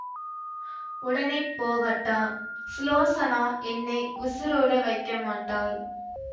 உடனே போகட்டா ஸுலோசனா என்னை உசிரோட வைக்கமாட்டாள்